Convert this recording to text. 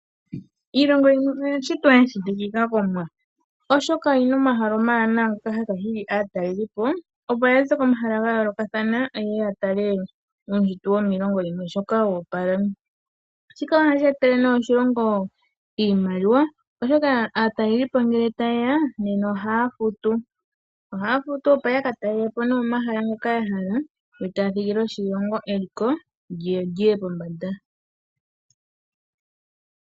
Iilongo yimwe oya shitwa ya shitikika komwa oshoka oyina omahala omawana haga hili aatalelipo opo yaze komaha ga yoolokathana ya tale uushitwe womiilongo sho wa opala. Shika ohadhi etele moshilingo oshimaliwa oshoka aatalelipo nge ta yeya ohaa futu yaka taalelapo o hala ngoka ya hala opo